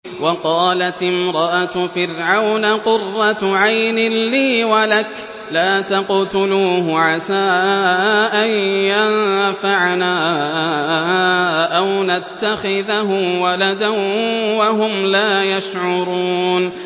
وَقَالَتِ امْرَأَتُ فِرْعَوْنَ قُرَّتُ عَيْنٍ لِّي وَلَكَ ۖ لَا تَقْتُلُوهُ عَسَىٰ أَن يَنفَعَنَا أَوْ نَتَّخِذَهُ وَلَدًا وَهُمْ لَا يَشْعُرُونَ